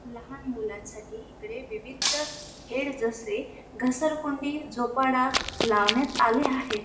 लहान मुलांसाठी एकडे विविध खेळ जसे घसरगुंडी झोपला लावण्यात आले आहेत.